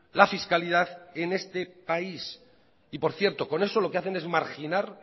la fiscalidad en este país y por cierto con eso lo que hacen es marginar